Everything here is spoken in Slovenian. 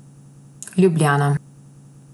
Ljubljana.